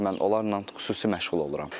Mən onlarla xüsusi məşğul oluram.